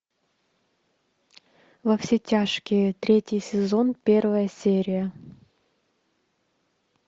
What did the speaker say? во все тяжкие третий сезон первая серия